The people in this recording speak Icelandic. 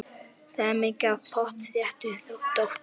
Það er mikið af pottþéttu dóti.